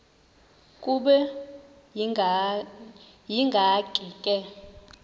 kube yinkinge ke